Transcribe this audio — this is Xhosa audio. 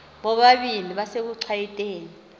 bobabini besekuchwayite ni